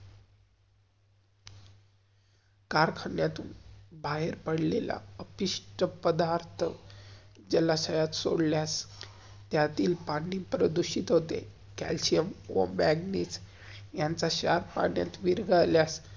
कार्खानायातुन बाहेर पडलेला, अतिष्ठ पधार्थ, जलाषयात सोडल्यास, त्यातील पाणी प्रदूषित होते. कैल्शियम व मागनिस यांचा शार्र पाण्यात विर्घल्यास.